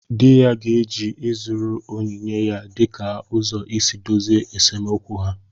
Di ya ga-eji ịzụrụ onyinye ya dịka ụzọ isi dozie esemokwu ha